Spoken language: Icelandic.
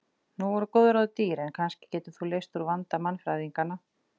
Nú voru góð ráð dýr en kannski getur þú leyst úr vanda mannfræðinganna.